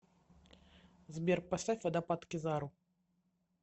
сбер поставь водопад кизару